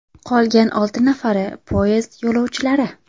Qolgan olti nafari poyezd yo‘lovchilari.